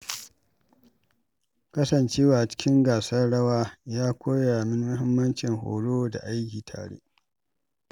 Kasancewa cikin gasar rawa ya koya min mahimmancin horo da aiki tare.